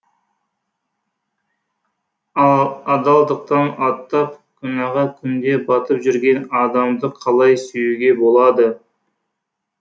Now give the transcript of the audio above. адалдықтан аттап күнәға күнде батып жүрген адамды қалай сүюге болады